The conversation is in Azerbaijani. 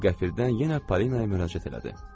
O qəfildən yenə Polinaya müraciət elədi.